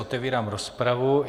Otevírám rozpravu.